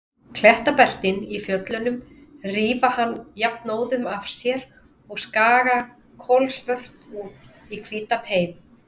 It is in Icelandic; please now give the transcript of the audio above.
Klettabeltin í fjöllunum rífa hann jafnóðum af sér og skaga kolsvört út í hvítan heim.